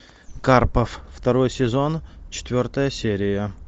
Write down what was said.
карпов второй сезон четвертая серия